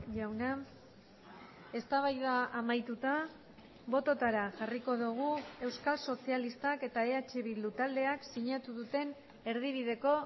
jauna eztabaida amaituta bototara jarriko dugu euskal sozialistak eta eh bildu taldeak sinatu duten erdibideko